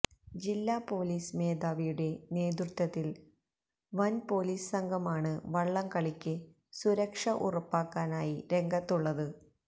ജില്ലാ പൊലീസ് മേധാവിയുടെ നേതൃത്വത്തില് വന് പൊലീസ് സംഘമാണ് വള്ളംകള്ളിക്ക് സുരക്ഷ ഉറപ്പാക്കാനായി രംഗത്തുള്ളത്